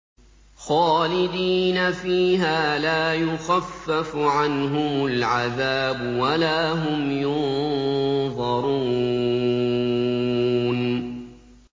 خَالِدِينَ فِيهَا ۖ لَا يُخَفَّفُ عَنْهُمُ الْعَذَابُ وَلَا هُمْ يُنظَرُونَ